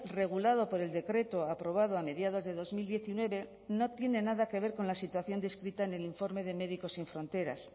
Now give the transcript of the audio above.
regulado por el decreto aprobado a mediados de dos mil diecinueve no tiene nada que ver con la situación descrita en el informe de médicos sin fronteras